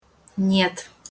нет